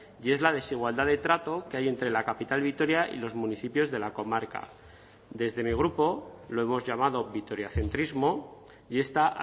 y es la desigualdad de trato que hay entre la capital de vitoria y los municipios de la comarca desde mi grupo lo hemos llamado vitoriacentrismo y esta